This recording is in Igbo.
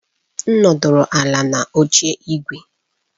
M nọdụ ala n'oche ígwè.